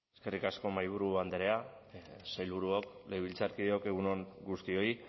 eskerrik asko mahaiburu andrea sailburuok legebiltzarkideok egun on guztioi